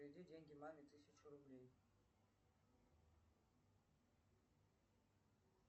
переведи деньги маме тысячу рублей